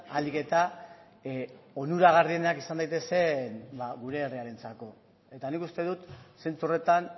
ahalik eta onuragarrienak izan daitezen gure herriarentzako eta nik uste dut zentzu horretan